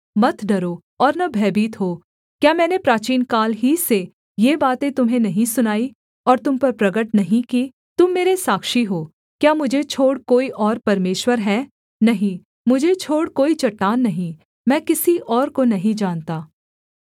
मत डरो और न भयभीत हो क्या मैंने प्राचीनकाल ही से ये बातें तुम्हें नहीं सुनाईं और तुम पर प्रगट नहीं की तुम मेरे साक्षी हो क्या मुझे छोड़ कोई और परमेश्वर है नहीं मुझे छोड़ कोई चट्टान नहीं मैं किसी और को नहीं जानता